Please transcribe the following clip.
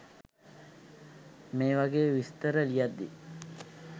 මේ වගේ විස්තර ලියද්දි